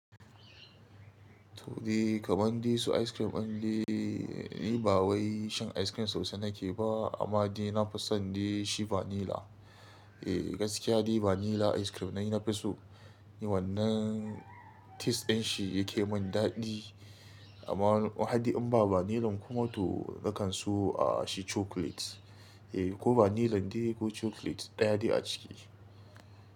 To, dai kaman dai su ice cream ɗin dai, ni ba wai shan ice cream sosai na ke ba amma dai na fison dai shi vanilla. Eh gaskiya dai vanilla ice cream nayi na fi so, ni wannan tes din shi yake mun daɗi amma mahaɗi in ba vanilla kuma to na kan so ah shi chocolate. Eh ko vanilla dai ko chocolate ɗaya de a ciki.